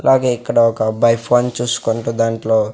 అలాగే ఇక్కడ ఒక అబ్బాయ్ ఫన్ చూసుకుంటూ దాంట్లో--